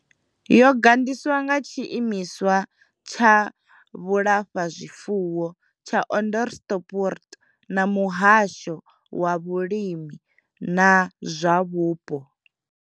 Yo gandiswa nga tshiimiswa tsha vhulafhazwifuwo tsha Onderstepoort na muhasho wa vhulimi na zwa vhupo.